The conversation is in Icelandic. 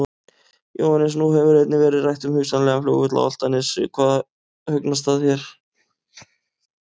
Jóhannes: Nú hefur einnig verið rætt um hugsanlegan flugvöll á Álftanes, hugnast það þér?